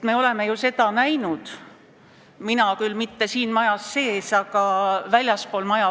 Me oleme seda juba näinud, mina küll mitte siin majas sees, aga väljaspool maja.